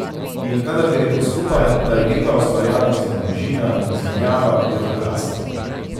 In kadar gre to skupaj, ta igriva ustvarjalnost in bližina, izmenjava, je to krasno.